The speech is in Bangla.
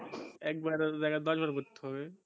এক বারের জাইগা দশ বার পড়তে হবে